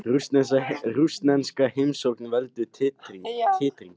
Rússnesk heimsókn veldur titringi